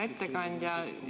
Hea ettekandja!